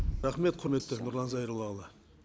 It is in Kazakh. рахмет құрметті нұрлан зайроллаұлы